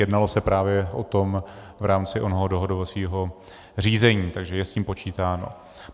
Jednalo se právě o tom v rámci onoho dohodovacího řízení, takže je s tím počítáno.